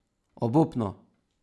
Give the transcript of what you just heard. Obupno!